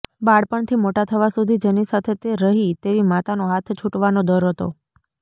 બાળપણથી મોટા થવા સુધી જેની સાથે તે રહી તેવી માતાનો હાથ છૂટવાનો ડર હતો